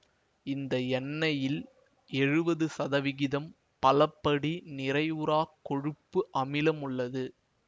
இந்த எண்ணெயில் எழுவது சதவிகிதம் பலப்படி நிறைவுறாக் கொழுப்பு அமிலம் உள்ளது